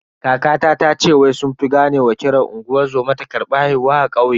Kakata tace wai sun fi gane ma kiran unguwar zoma ta karbi haihuwa a kauye.